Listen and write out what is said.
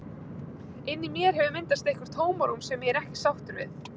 Inni í mér hefur myndast eitthvert tómarúm sem ég er ekki sáttur við.